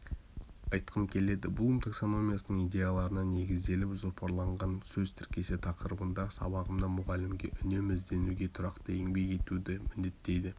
айтқым келеді блум таксономиясының идеяларына негізделіп жоспарланған сөз тіркесі тақырыбындағы сабағымда мұғалімге үнемі ізденуге тұрақты еңбек етуді міндеттейді